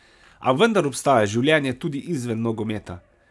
A vendar obstaja življenje tudi izven nogometa.